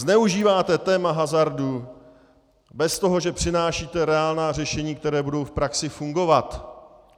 Zneužíváte téma hazardu bez toho, že přinášíte reálná řešení, která budou v praxi fungovat.